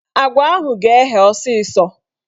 Agwa ahụ ga-eghe ọsịsọ